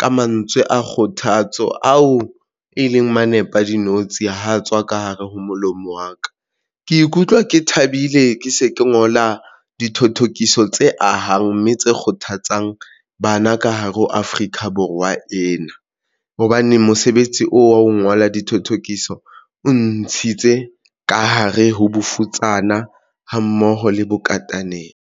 Ka mantswe a kgothatso ao e leng manese a dinotshi ho tswa ka hare ho molomo wa ka, ke ikutlwa ke thabile, ke se ke ngola dithothokiso tse ahang mme tse kgothatso isang bana ka hare ho Afrika Borwa ena, hobane mosebetsi oo wa ho ngola dithothokiso o ntshitse ka hare ho bofutsana hammoho le bokataneng.